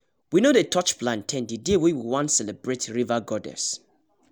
we no dey touch plantain the day wey we wan celebrate river goddess